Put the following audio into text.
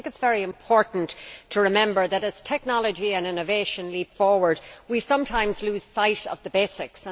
I think it is very important to remember that, as technology and innovation leap forward, we sometimes lose sight of the basics.